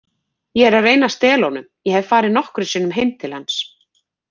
Ég er að reyna að stela honum, ég hef farið nokkrum sinnum heim til hans.